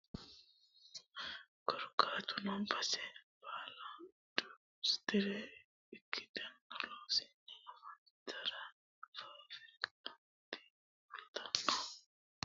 Korkaatuno base baala industire ikkitino Loossinanni daafira faafirikkatenni fulanno ishini aanchitine lame lame babbaxxitino doogonni waa burquuqisanno Korkaatuno base baala.